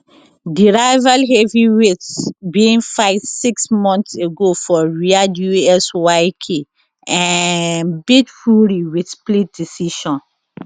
di rival heavyweights bin fight six months ago for riyadh usyk um beat fury wit split decision